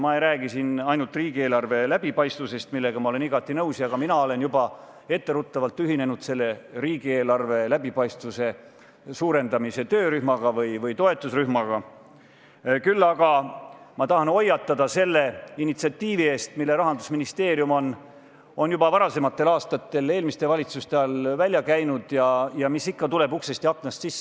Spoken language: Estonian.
Ma ei räägi siin ainult riigieelarve läbipaistvusest, millega ma olen igati nõus – ja ka mina olen juba etteruttavalt ühinenud selle riigieelarve läbipaistvuse suurendamise töörühmaga või toetusrühmaga –, küll aga ma tahan hoiatada selle initsiatiivi eest, mille Rahandusministeerium on juba varasematel aastatel, eelmiste valitsuste ajal välja käinud ja mis ikka tuleb uksest ja aknast sisse.